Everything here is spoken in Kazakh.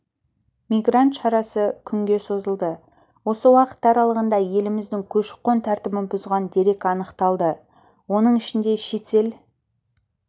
мигрант шарасы күнге созылды осы уақыт аралығында еліміздің көші-қон тәртібін бұзған дерек анықталды оның ішінде шетел